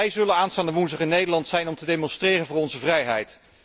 Wij zullen aanstaande woensdag in Nederland zijn om te demonstreren voor onze vrijheid.